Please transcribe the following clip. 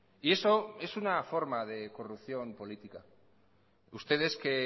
y eso es una forma de corrupción política ustedes que